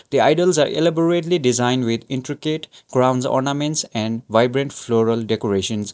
the idols are elaborately designed with intricate crowns ornaments and vibrant floral decorations.